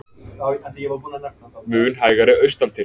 Mun hægari austantil